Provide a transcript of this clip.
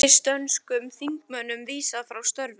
Pakistönskum þingmönnum vísað frá störfum